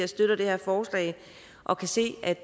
støtter det her forslag og kan se at